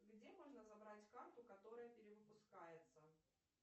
где можно забрать карту которая перевыпускается